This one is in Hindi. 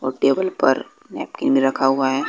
और टेबल पर नैपकिन भी रखा हुआ है।